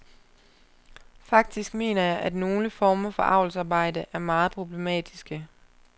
Faktisk mener jeg, at nogle former for avlsarbejde er meget problematiske.